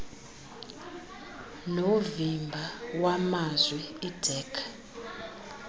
novimba wamazwi idac